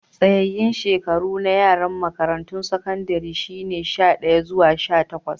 Tsayayen shekaru na yaran makarantun sakandare shine sha daya zuwa sha takwas.